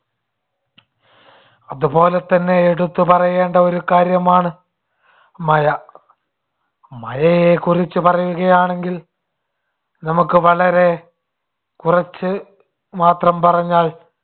അതുപോലെതന്നെ എടുത്തുപറയേണ്ട ഒരു കാര്യമാണ് മഴ. മഴയെക്കുറിച്ചു പറയുകയാണെങ്കിൽ നമുക്ക് വളരെ കുറച്ചു മാത്രം പറഞ്ഞാൽ